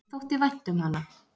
Mér þótti vænt um hana.